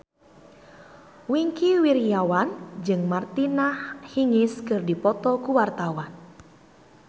Wingky Wiryawan jeung Martina Hingis keur dipoto ku wartawan